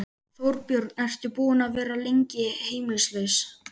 Þorbjörn: Ertu búinn að vera lengi heimilislaus?